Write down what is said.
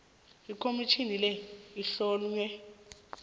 ikhomitjhini le ihlonywe